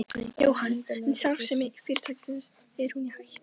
Jóhann: En starfsemi fyrirtækisins, er hún í hættu?